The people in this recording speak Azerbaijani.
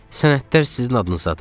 Sənədlər sizin adınızdadır.